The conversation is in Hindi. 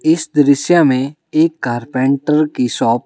इस दृश्य में एक कारपेंटर की शॉप --